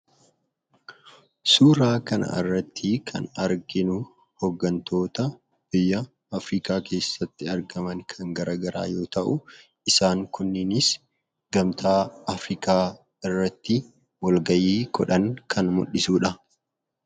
Suuraa kana irrattii kan arginu, hooggantoota biyya Afrikaa keessatti argaman kan garaagaraa yoo ta'u, isaan kunninis Gamtaa Afrikaa irratti walgahii godhan kan mul'isudha.